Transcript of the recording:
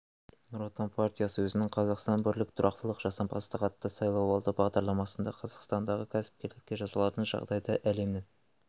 нұр отан партиясы өзінің қазақстан бірлік тұрақтылық жасампаздық атты сайлауалды бағдарламасында қазақстандағы кәсіпкерлікке жасалатын жағдайды әлемнің